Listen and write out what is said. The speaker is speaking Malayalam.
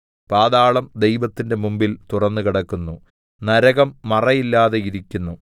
പാതാളം ദൈവത്തിന്റെ മുമ്പിൽ തുറന്നുകിടക്കുന്നു നരകം മറയില്ലാതെയിരിക്കുന്നു